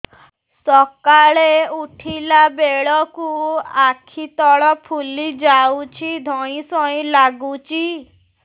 ସକାଳେ ଉଠିଲା ବେଳକୁ ଆଖି ତଳ ଫୁଲି ଯାଉଛି ଧଇଁ ସଇଁ ଲାଗୁଚି